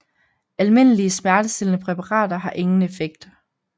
Almindelige smertestillende præparater har ingen effekt